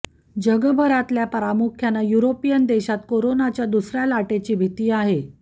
जगभरातल्या प्रामुख्यानं युरोपियन देशात कोरोनाच्या दुसऱ्या लाटेची भीती आहे